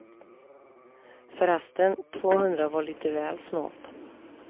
Förresten, tvåhundra var lite väl snålt.